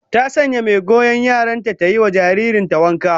Ta sanya mai goyon yaran ta ta yi wa jaririyar ta wanka